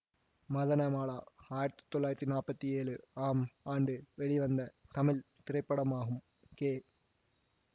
மதனமாலா ஆயிரத்தி தொள்ளாயிரத்தி நாற்பத்தி ஏழு ஆம் ஆண்டு வெளிவந்த தமிழ் திரைப்படமாகும் கே